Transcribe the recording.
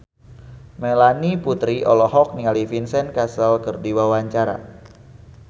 Melanie Putri olohok ningali Vincent Cassel keur diwawancara